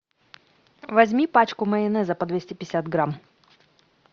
возьми пачку майонеза по двести пятьдесят грамм